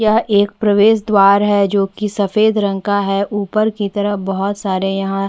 यहाँ एक प्रवेश द्वार है जो की सफ़ेद रंग का है ऊपर की तरफ बहोत सारे यहाँ --